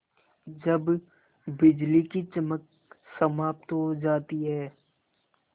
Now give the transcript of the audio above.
जब बिजली की चमक समाप्त हो जाती है